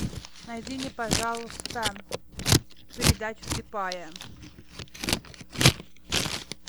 найди мне пожалуйста передачу слепая